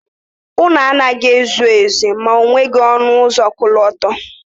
Ụlọ anaghị ezu oke ma o nweghị ọnụ ụzọ ọkọlọtọ.